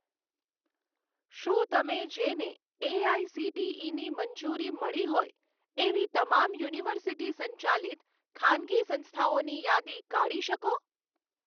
શું તમે જેને એઆઇસીટીઇની મંજૂરી મળી હોય એવી તમામ યુનિવર્સિટી સંચાલિત ખાનગી સંસ્થાઓની યાદી કાઢી શકો?